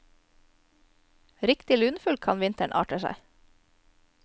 Riktig lunefull kan vinteren arte seg.